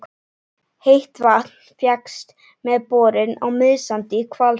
Heitt vatn fékkst með borun á Miðsandi í Hvalfirði.